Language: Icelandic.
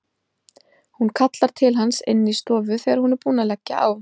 Hún kallar til hans inn í stofu þegar hún er búin að leggja á.